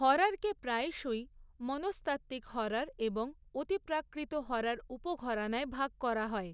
হররকে প্রায়শই মনস্তাত্ত্বিক হরর এবং অতিপ্রাকৃত হরর উপ ঘরানায় ভাগ করা হয়।